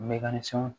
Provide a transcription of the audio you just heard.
Mɛ ni fɛnw